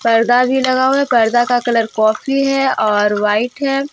पर्दा भी लगा हुआ है पर्दा का कलर कॉफी और वाइट है।